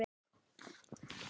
Netið hefur verið líf mitt.